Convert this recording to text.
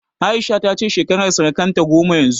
A'isha ta ce shekarar sarƙarta goma yanzu